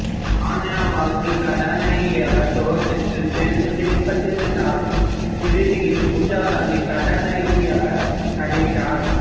சன்யா வாகில் கதாநாயகியாக துவக்கத்தில் தேர்வு செய்யப்பட்டிருந்தாலும் இறுதியில் பூஜா காந்தி கதாநாயகியாக நடித்தார்